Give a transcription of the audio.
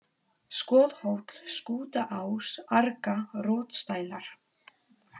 Skothóll, Skútaás, Arga, Rotsdælar